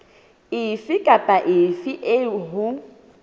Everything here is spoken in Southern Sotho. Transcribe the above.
efe kapa efe eo ho